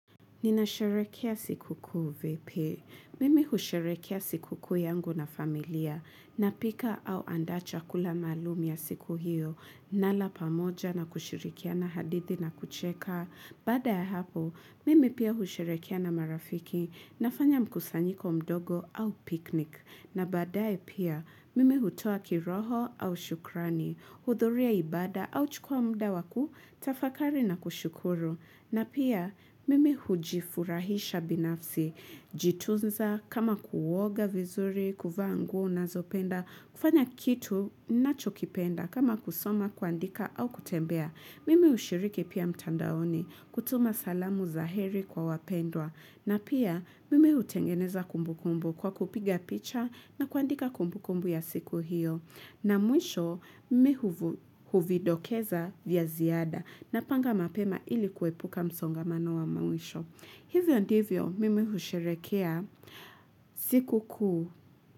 Ninasharekia siku kuu vipi. Mimi husharekia siku kuu yangu na familia. Napika au andacha kula malumi ya siku hiyo. Mara pamoja na kushirikia na hadithi na kucheka. Baada ya hapo, mimi pia husharekia na marafiki na fanya mkusanyiko mdogo au piknik. Na badae pia, mimi hutua kiroho au shukrani, hudhuria ibada au chukua muda wakutafakari na kushukuru. Na pia, mime hujifurahisha binafsi, jituza kama kuwoga vizuri, kuvaa nguo nizopenda, kufanya kitu, nacho kipenda, kama kusoma, kwandika au kutembea. Mimi ushiriki pia mtandaoni kutuma salamu za heri kwa wapendwa na pia mimi utengeneza kumbukumbu kwa kupiga picha na kuandika kumbu kumbu ya siku hiyo. Na mwisho mimi huvidokeza vya ziada na panga mapema ili kuepuka msongamano wa mwisho. Hivyo ndivyo mimi ushiriki ya siku kuu.